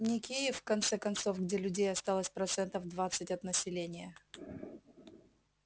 не киев в конце концов где людей осталось процентов двадцать от населения